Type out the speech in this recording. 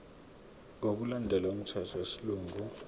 ngokulandela umthetho wesilungu